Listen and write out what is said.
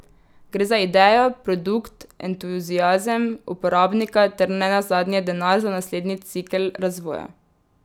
Gre za idejo, produkt, entuziazem, uporabnika ter nenazadnje denar za naslednji cikel razvoja.